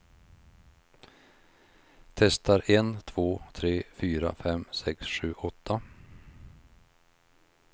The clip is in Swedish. Testar en två tre fyra fem sex sju åtta.